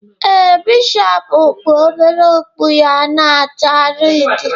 Ee, Bishọpu kpu obere okpu ya na-acha redi